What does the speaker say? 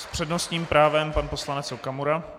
S přednostním právem pan poslanec Okamura.